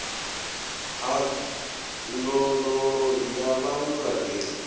ha ndondolo ya vhaṅwe vhabebi